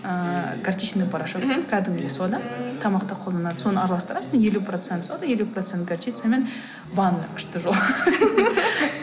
ыыы горчичный порошок мхм кәдімгідей сода тамақта қолданатын соны араластырасың елу процент сода елу процент горчицамен ванна күшті жуылады